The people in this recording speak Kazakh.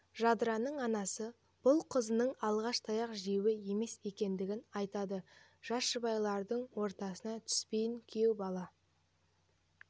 жадыраның анасы бұл қызының алғаш таяқ жеуі емес екендігін айтады жас жұбайлардың ортасына түспейін күйеу бала